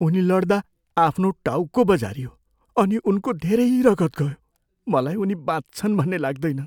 उनी लडदा आफ्नो टाउको बजारियो अनि उनको धेरै रगत गयो। मलाई उनी बाँच्छन् भन्ने लाग्दैन।